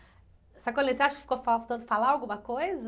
Sacolinha, você acha que ficou faltando falar alguma coisa?